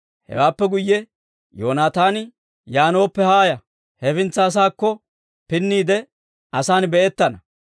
Hewaappe guyye Yoonaataani, «Yaanooppe haaya; hefintsa asaakko pinniide, asan be'ettana.